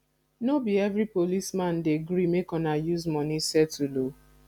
no be every policeman dey gree make una use money settle o